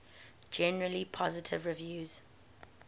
generally positive reviews